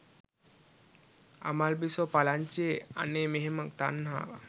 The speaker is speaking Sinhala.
අමල්බිසෝ පලංචියේ අනේ මෙහෙම තන්හාවක්